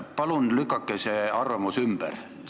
Palun lükake see arvamus ümber!